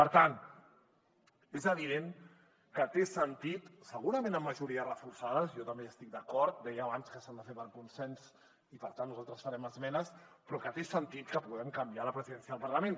per tant és evident que té sentit segurament amb majories reforçades jo també hi estic d’acord deia abans que s’han de fer per consens i per tant nosaltres farem esmenes però que té sentit que puguem canviar la presidència del parlament